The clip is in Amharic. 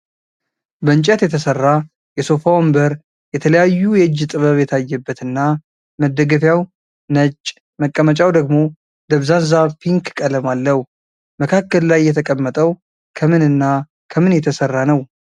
በእንጨት የተሰራ የሶፋ ወንበር የተለያዩ የእጅ ጥበብ የታየበት እና መደገፊያዉ ነጭ መቀመጫዉ ደግሞ ደብዛዛ ፒክ ቀለም አለዉ። መካከል ላይ የተቀመጠዉ ከምን እና ከምን የተሰራ ነዉ?